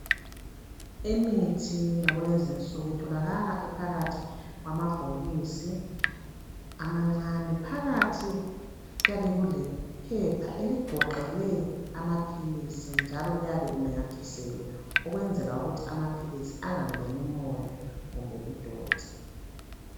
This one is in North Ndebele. Imithi yakulezinsuku itholakala phakathi kwamabhokisi amancane phakathi kuyabe kulephepha eligoqele amaphilisi njalo liyabe linamathiselwe ukwenzela ukuthi amaphilisi angangeni umoya kumbe idoti.